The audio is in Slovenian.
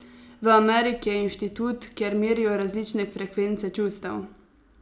V Ameriki je institut, kjer merijo različne frekvence čustev.